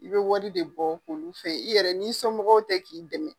I bɛ wari de bɔ olu fɛ i yɛrɛ n'i sɔnmɔgɔw tɛ k'i dɛmɛ